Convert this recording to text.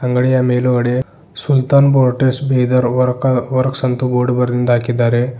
ಅಂಗಡಿಯ ಮೇಲುಗಡೆ Sultan bore test Bidar ವಕರ್ಸ್ ವರ್ಕ್ ಬೋರ್ಡ್ ಬರೆದಿಂದ ಹಾಕಿದ್ದಾರೆ.